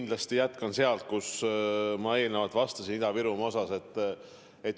Ma jätkan sealt, kus ma Ida-Virumaa kohta vastamise lõpetasin.